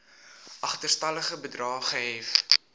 agterstallige bedrae gehef